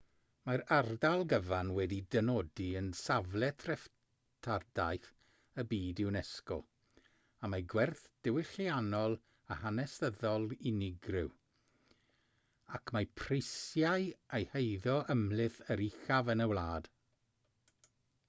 mae'r ardal gyfan wedi'i dynodi yn safle treftadaeth y byd unesco am ei gwerth diwylliannol a hanesyddol unigryw ac mae prisiau ei heiddo ymhlith yr uchaf yn y wlad